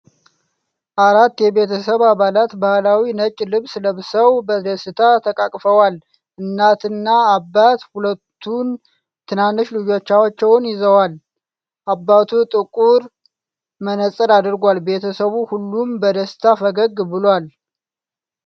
አራት የቤተሰብ አባላት ባህላዊ ነጭ ልብስ ለብሰው በደስታ ተቃቅፈዋል። እናትና አባት ሁለቱን ትናንሽ ልጆች ይዘዋል፤ አባቱ ጥቁር መነጽር አድርጓል። ቤተሰቡ ሁሉም በደስታ ፈገግ ብሏል።